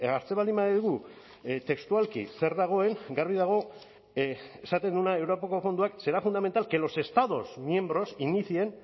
hartzen baldin badugu textualki zer dagoen garbi dago esaten duena europako fondoak será fundamental que los estados miembros inicien